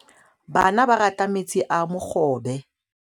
Bana ba rata metsi a mogobe.